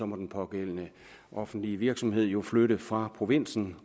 må den pågældende offentlige virksomhed jo flytte fra provinsen